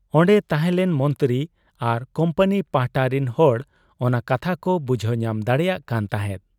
ᱚᱱᱰᱮ ᱛᱟᱷᱮᱸᱞᱮᱱ ᱢᱚᱱᱛᱨᱤ ᱟᱨ ᱠᱩᱢᱯᱟᱱᱤ ᱯᱟᱦᱴᱟ ᱨᱤᱱ ᱦᱚᱲ ᱚᱱᱟ ᱠᱟᱛᱷᱟ ᱠᱚ ᱵᱩᱡᱷᱟᱹᱣ ᱧᱟᱢ ᱫᱟᱲᱮᱭᱟᱜ ᱠᱟᱱ ᱛᱟᱦᱮᱸᱫ ᱾